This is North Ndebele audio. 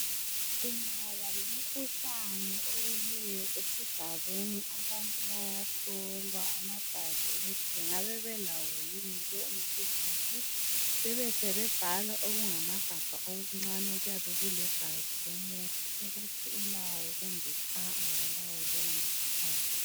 Kungaba lomkhuhlane owileyo esigabeni abantu bayahlolwa amagazi ukuthi bengabe belawo lowo mkhuhlane besebe bhala okungamagabha okuncane okuyabe kulegazi ukuthi ulawo kumbe kalawo lowo mkhuhlane